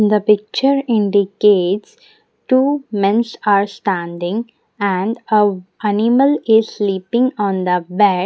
The picture indicates two mens are standing and a animal is sleeping on the bed.